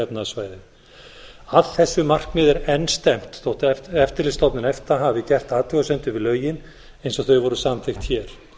efnahagssvæðið að þessu markmið er enn stefnt þótt eftirlitsstofnun efta hafi gert athugasemdir við lögin eins og þau voru samþykkt hér